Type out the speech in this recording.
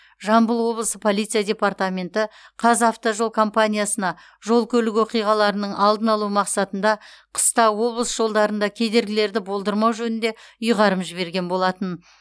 жамбыл облысы полиция департаменті қазавтожол компаниясына жол көлік оқиғаларының алдын алу мақсатында қыста облыс жолдарында кедергілерді болдырмау жөнінде ұйғарым жіберген болатын